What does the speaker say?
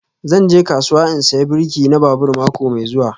Zan je kasuwa in saya birki na babur mako mai zuwa